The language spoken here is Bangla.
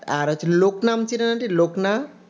আর হচ্ছে লোকনা আম চিনেন aunty লোকনা